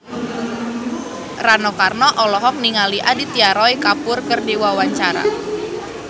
Rano Karno olohok ningali Aditya Roy Kapoor keur diwawancara